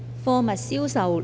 《貨物銷售條例草案》。